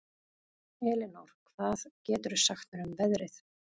Elinór, hvað geturðu sagt mér um veðrið?